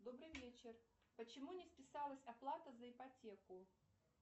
добрый вечер почему не списалась оплата за ипотеку